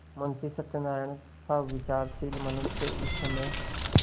मुंशी सत्यनारायणसा विचारशील मनुष्य इस समय